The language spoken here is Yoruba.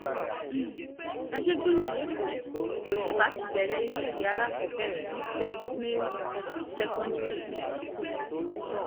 um àjẹgúnlẹ̀ lẹ́kọ̀ọ́ lọ́ṣùpá ti bẹ̀rẹ̀ iléèwé àkàkọ́ọ́bẹ̀rẹ̀ ní saint marys secondary um school